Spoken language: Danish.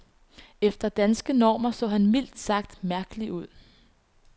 Efter danske normer så han mildt sagt mærkelig ud.